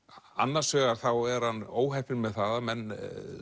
annars vegar þá er hann óheppinn með það að menn